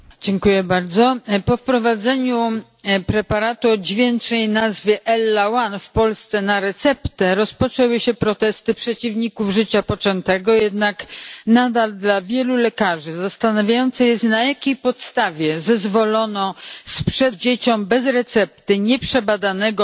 Panie Przewodniczący! Po wprowadzeniu preparatu o dźwięcznej nazwie ellaOne w Polsce na receptę rozpoczęły się protesty przeciwników życia poczętego, jednak nadal dla wielu lekarzy zastanawiające jest, na jakiej podstawie zezwolono na sprzedaż dzieciom bez recepty nieprzebadanego